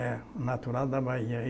É, natural da Bahia.